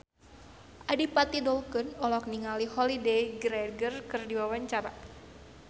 Adipati Dolken olohok ningali Holliday Grainger keur diwawancara